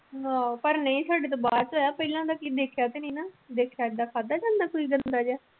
ਆਹ ਪਰ ਨਹੀਂ ਸਾਡੇ ਤੋਂ ਬਾਅਦ ਚ ਹੋਇਆ ਪਹਿਲਾਂ ਦਾ ਕੀ ਦੇਖਿਆ ਤਾਂ ਨੀ ਨਾ, ਦੇਖਿਆ ਏਦਾਂ ਖਾਧਾ ਜਾਂਦਾ ਕੋਈ ਗੰਦਾ ਜਿਹਾ।